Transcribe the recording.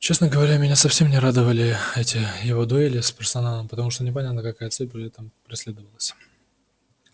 честно говоря меня совсем не радовали эти его дуэли с персоналом потому что непонятно какая цель при этом преследовалась